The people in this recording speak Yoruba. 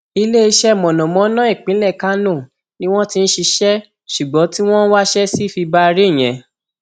iléeṣẹ mọnàmọná ìpínlẹ kánò ni wọn ti ń ṣiṣẹ ṣùgbọn tí wọn ń wáṣẹ sí fibaré yẹn